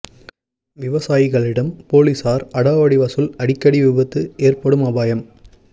விவசாயிகளிடம் போலீசார் அடாவடி வசூல் அடிக்கடி விபத்து ஏற்படும் அபாயம்